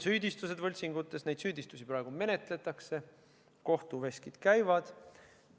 Süüdistusi võltsingutes praegu menetletakse, kohtuveskid käivad.